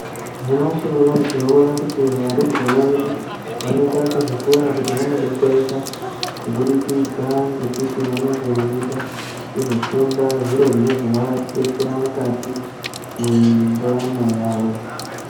Nyamashi unowu tinoona kuti varumbwana vedu Vanoenda kuzvikora kuti vandodetsereka kuburikidza ngekuti vanenge veida kuzofunda zviro zvino zovadetsera mukati mwendaramo yawo.